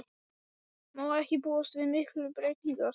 Má ekki búast við miklum breytingum þar?